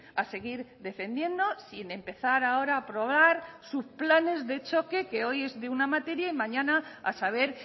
a seguir defendiendo sin empezar ahora a aprobar subplanes de choque que hoy es de una materia y mañana a saber